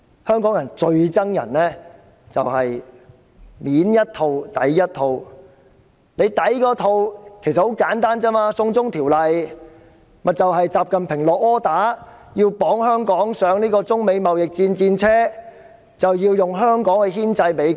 香港人最討厭就是表裏不一，"送中條例"背後的理由很簡單，就是習近平"落 order"， 要把香港綁上中美貿易戰的戰車，以香港牽制美國。